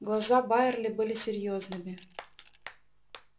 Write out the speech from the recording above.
глаза байерли были серьёзными